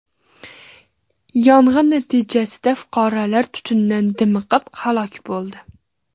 Yong‘in natijasida fuqaro tutundan dimiqib, halok bo‘ldi.